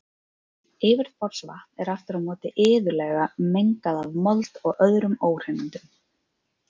Yfirborðsvatn er aftur á móti iðulega mengað af mold og öðrum óhreinindum.